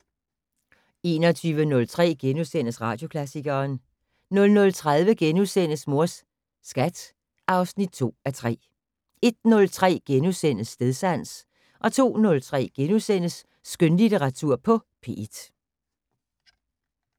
21:03: Radioklassikeren * 00:30: Mors Skat (2:3)* 01:03: Stedsans * 02:03: Skønlitteratur på P1 *